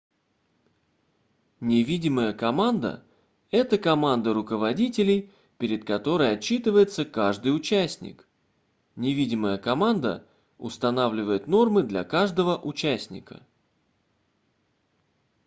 невидимая команда - это команда руководителей перед которой отчитывается каждый участник невидимая команда устанавливает нормы для каждого участника